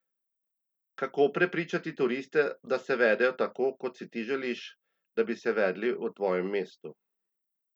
Kako prepričati turiste, da se vedejo tako, kot si ti želiš, da bi se vedli v tvojem mestu?